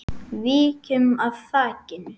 Víkjum að þakinu.